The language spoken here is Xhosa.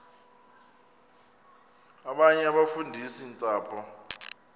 abanye abafundisi ntshapo